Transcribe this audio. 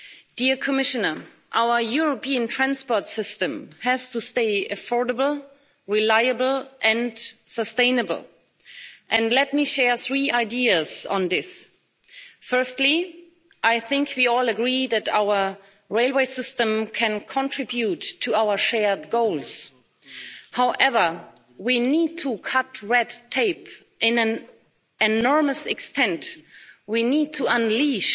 Dear Commissioner, our European transport system has to stay affordable, reliable and sustainable. And let me share three ideas on this Firstly, I think we all agree that our railway system can contribute to our shared goals. However, we need to cut red tape, to an enormous extent, we need to unleash